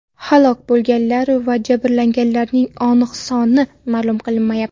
Halok bo‘lganlar va jabrlanganlarning aniq soni ma’lum qilinmayapti.